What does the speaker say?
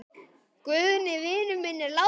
Guðni vinur minn er látinn.